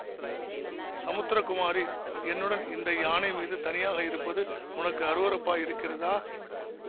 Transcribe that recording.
சமுத்திரகுமாரி என்னுடன் இந்த யானை மீது தனியாக இருப்பது உனக்கு அருவருப்பாயிருக்கிறதா